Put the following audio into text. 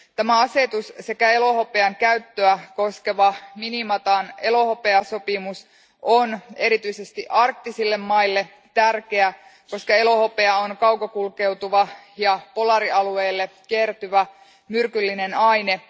Tämä asetus sekä elohopean käyttöä koskeva Minamatan elohopeasopimus on erityisesti arktisille maille tärkeä, koska elohopea on kaukokulkeutuva ja polaarialueille kertyvä myrkyllinen aine.